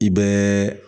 I bɛɛ